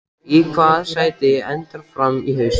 Í hvaða sæti endar Fram í haust?